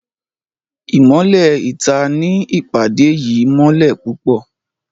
Imọlẹ ìta ní ìpàdé yìí mọlẹ pupọ